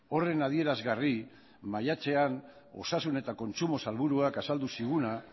horren adierazgarri maiatzean osasun eta kontsumo sailburuak azaldu ziguna